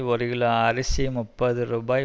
ஒரு கிலோ அரிசி முப்பது ரூபாய்